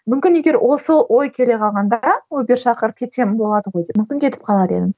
мүмкін егер ол сол ой келе қалғанда убер шақырып кетсем болады ғой деп мүмкін кетіп қалар едім